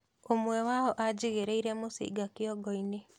"ûmwe wao ajigìreire mũcinga kiongoini "